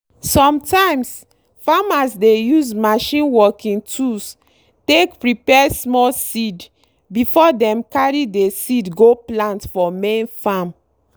sometimes farmers dey use machine working tools take prepare small seed before dem carry dey seed go plant for main farm.